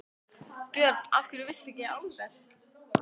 Björn: Af hverju viltu ekki álver?